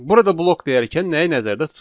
Burada blok deyərkən nəyi nəzərdə tuturururuq?